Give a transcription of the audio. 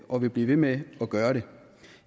og vil blive ved med at gøre det